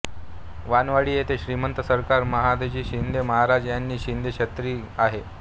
वानवडी येथे श्रीमंत सरकार महादजी शिंदे महाराज यांची शिंदे छत्री आहे